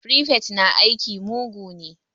Firifet na aiki mugu ne